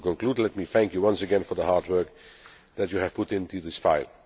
To conclude, let me thank you once again for the hard work that you have put into this file.